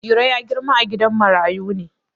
Iro ya girma a gidan marayu ne.